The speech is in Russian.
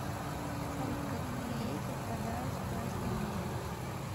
салют какие реки впадают в красное море